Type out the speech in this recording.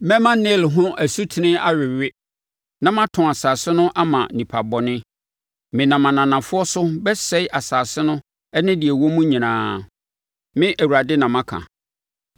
Mɛma Nil ho asutene awewe na matɔn asase no ama nipabɔne; menam ananafoɔ so bɛsɛe asase no ne deɛ ɛwɔ mu nyinaa. Me Awurade na maka.